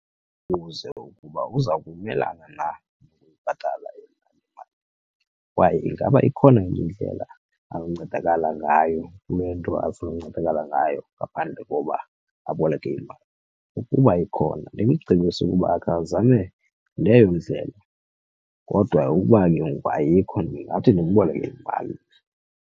Ndimbuze ukuba uza kumelana na ukuyibhatala le mali kwaye ingaba ikhona enye indlela anoncedakala ngayo kule nto afuna ukuncedakala ngayo ngaphandle koba aboleke imali. Ukuba ikhona ndimcebise ukuba akhe azame leyo ndlela, kodwa uba ke ngoku ayikho ndingathi ndimboleke imali.